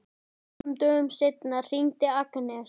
Nokkrum dögum seinna hringir Agnes.